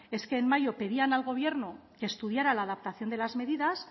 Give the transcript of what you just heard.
es que en mayo pedían al gobierno que estudiara la adaptación de las medidas